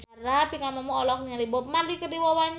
Pinkan Mambo olohok ningali Bob Marley keur diwawancara